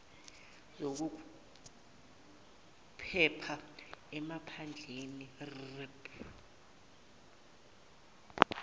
lwezokuphepha emaphandleni rpp